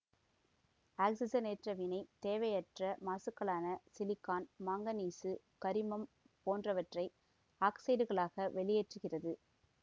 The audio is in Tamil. ஆக்சிசனேற்ற வினை தேவையற்ற மாசுக்களான சிலிக்கான் மாங்கனீசு கரிமம் போன்றவற்றை ஆக்சைடுகளாக வெளியேற்றுகிறது